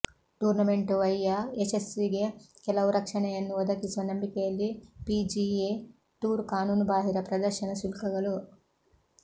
tournament ವೈ ಯ ಯಶಸ್ಸಿಗೆ ಕೆಲವು ರಕ್ಷಣೆಯನ್ನು ಒದಗಿಸುವ ನಂಬಿಕೆಯಲ್ಲಿ ಪಿಜಿಎ ಟೂರ್ ಕಾನೂನುಬಾಹಿರ ಪ್ರದರ್ಶನ ಶುಲ್ಕಗಳು